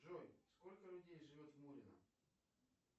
джой сколько людей живет в мурино